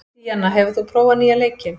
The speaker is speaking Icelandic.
Díanna, hefur þú prófað nýja leikinn?